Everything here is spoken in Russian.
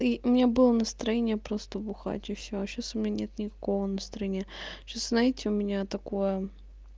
и мне было настроение просто бухать и все а сейчас у меня нет никакого настроения сейчас знаете у меня такое